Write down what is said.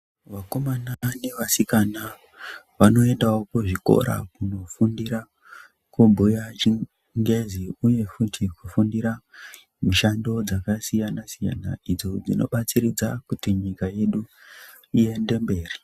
Vakomana nevasikana vanoendavo kuzvikora kunofundira kubhuya chingezi, uye futi kufundira mishando dzakasiyana-siyana, idzo dzinobatsiridza kuti nyika yedu iyende mberi.